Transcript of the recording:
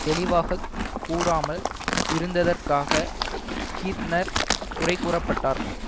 தெளிவாக கூறாமல் இருந்ததற்காக கீத்னர் குறை கூறப்பட்டார்